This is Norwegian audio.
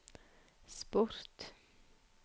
sport